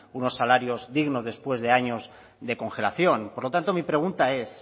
unos salarios dignos después de años de congelación por lo tanto mi pregunta es